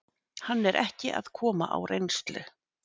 Hann er ekki að koma á reynslu.